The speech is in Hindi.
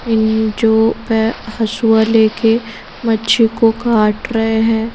इन जो प हसुआ लेके मच्छी को काट रहे हैं।